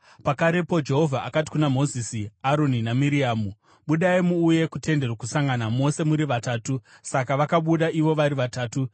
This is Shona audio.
Pakarepo Jehovha akati kuna Mozisi, Aroni naMiriamu, “Budai muuye kuTende Rokusangana, mose muri vatatu.” Saka vakabuda ivo vari vatatu.